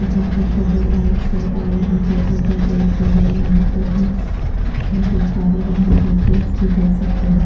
यहाँ पे छोटे लाईट्स हैं और यहाँ पे ऊपर ए_ सी हैं यहाँ पे छोटे काले रंग के चेयर्स भी देख सकते हैं।